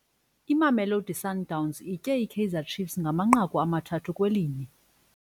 Imamelosi Sundowns itye iKaizer Ciefs ngamanqaku amathathu kwelinye.